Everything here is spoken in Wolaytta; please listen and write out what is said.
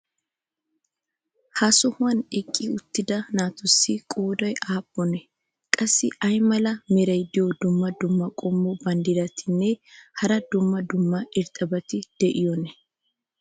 ha sohuwan eqqi uttida naatussi qooday aappunee? qassi ay mala meray diyo dumma dumma qommo banddiratinne hara dumma dumma irxxabati de'iyoonaa?